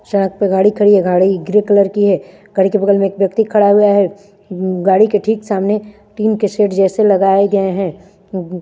सड़क पर गाड़ी खड़ी है गाड़ी ग्रे कलर की है गाड़ी के बगल में एक व्यक्ति खड़ा हुआ है गाड़ी के ठीक सामने टीन के शेड जैसे लगाये गये हैं उम्म उम्म--